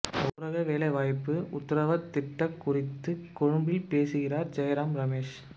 ஊரக வேலை வாய்ப்பு உத்தரவாதத் திட்டம் குறித்து கொழும்பில் பேசுகிறார் ஜெயராம் ரமேஷ்